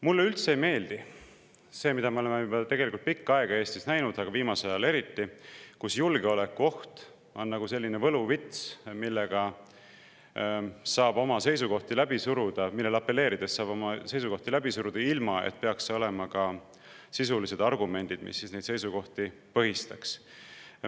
Mulle üldse ei meeldi see, mida me oleme Eestis näinud juba pikka aega, aga eriti viimasel ajal, kui julgeolekuohust on saanud nagu selline võluvits, millele apelleerides saab oma seisukohti läbi suruda, ilma et peaks olema sisulisi argumente, mis neid seisukohti põhistaks.